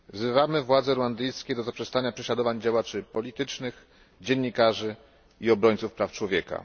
Wzywamy władze ruandyjskie do zaprzestania prześladowań działaczy politycznych, dziennikarzy i obrońców praw człowieka.